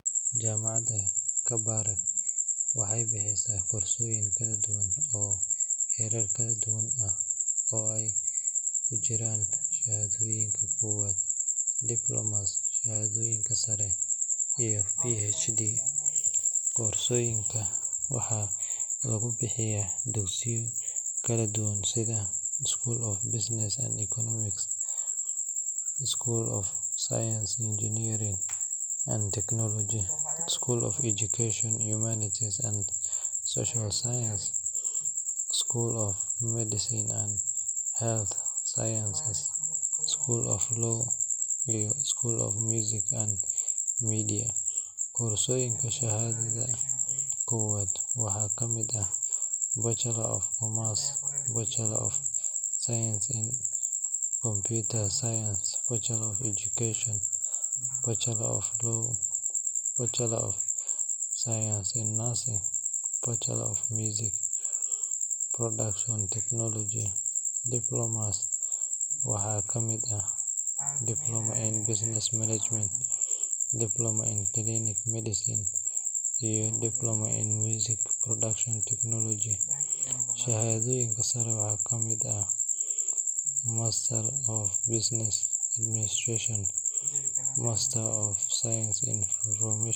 Jaamacadda Kabarak waxay bixisaa koorsooyin kala duwan oo heerar kala duwan ah, oo ay ku jiraan shahaadooyinka koowaad, diplomas, shahaadooyin sare iyo PhD. Koorsooyinka waxaa lagu bixiyaa dugsiyo kala duwan sida School of Business and Economics, School of Science, Engineering and Technology, School of Education, Humanities and Social Sciences, School of Medicine and Health Sciences, School of Law, iyo School of Music and Media. Koorsooyinka shahaadada koowaad waxaa ka mid ah Bachelor of Commerce, Bachelor of Science in Computer Science, Bachelor of Education (Arts), Bachelor of Laws, Bachelor of Science in Nursing, iyo Bachelor of Music Production Technology. Diplom, as waxaa ka mid ah Diploma in Business Management, Diploma in Clinical Medicine, iyo Diploma in Music Production Technology. Shahaadooyinka sare waxaa ka mid ah Master of Business Administration, Master of Science in Information Technology.